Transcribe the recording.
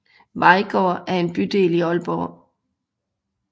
Vejgaard er en bydel i Aalborg